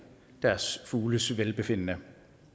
deres fugles velbefindende